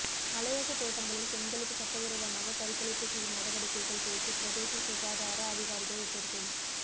மலையக தோட்டங்களில் பெண்களுக்கு சட்டவிரோதமாக கருக்கலைப்பு செய்யும் நடவடிக்கைகள் குறித்து பிரதேச சுகாதார அதிகாரிகள் எச்சரிக்கை